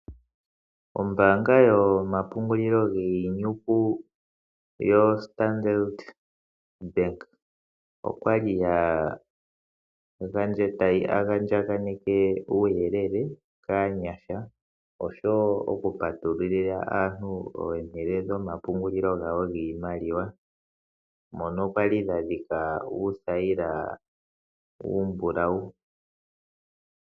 Ombaanga yomapungulilo giinyuka yoStandard bank okwali ya andjakaneke uuyulele kaanyasha oshowo okupatululila aantu oompito dhomapungulilo giimaliwa mono kwali yadhika uuthayila uumbulawu.